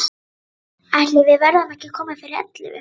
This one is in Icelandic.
Ætli við verðum ekki komin fyrir ellefu.